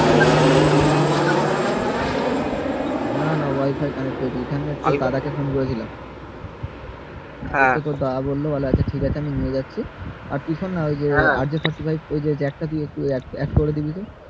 না না wi-fi connect করে দিয়েছি দাদা কে ফোন করে ছিলাম দাদা বললো আচ্ছা ঠিক আছে আমি নিয়ে যাচ্ছি আর দেখুন যে jack টা দিয়েছে add করে দিবি তো